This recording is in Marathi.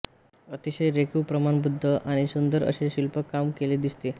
अतिशय रेखीव प्रमाणबद्ध आणि सुंदर असे हे शिल्पकाम केले दिसते